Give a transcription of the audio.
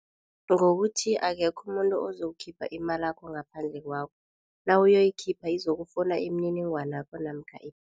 Ngokuthi akekho umuntu ozokukhipha imalakho ngaphandle kwakho, nawuyoyikhipha izokufuna imniningwanakho namkha